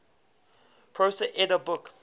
prose edda book